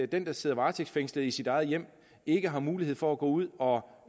den der sidder varetægtsfængslet i sit eget hjem ikke har mulighed for at gå ud og